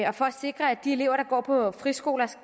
og for at sikre at de elever der går på friskolerne